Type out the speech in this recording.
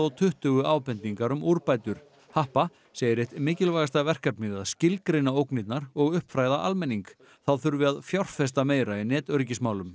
tuttugu ábendingar um úrbætur happa segir eitt mikilvægasta verkefnið að skilgreina ógnirnar og uppfræða almenning þá þurfi að fjárfesta meira í netöryggismálum